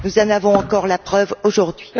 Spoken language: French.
Nous en avons encore la preuve aujourd'hui.